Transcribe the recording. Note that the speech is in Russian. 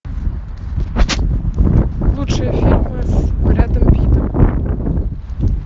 лучшие фильмы с брэдом питтом